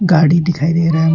गाड़ी दिखाई दे रहा है।